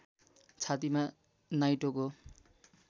छातीमा नाइटोको